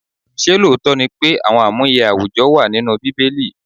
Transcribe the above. Ṣé lóòótọ́ ni àwọn amuye àwùjọ wà nínú Bíbélì?